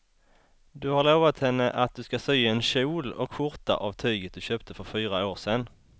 Du har lovat henne att du ska sy en kjol och skjorta av tyget du köpte för fyra år sedan.